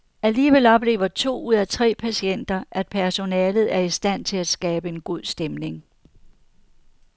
Alligevel oplever to ud af tre patienter, at personalet er i stand til at skabe god stemning.